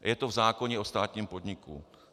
Je to v zákoně o státním podniku.